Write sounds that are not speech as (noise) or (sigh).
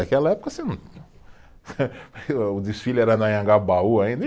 Naquela época você não, (laughs) e ah, o desfile era no Anhangabaú ainda, e